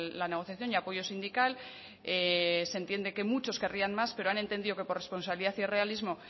la negociación y apoyo sindical se entiende que muchos querrían más pero han entendido que por responsabilidad y realismo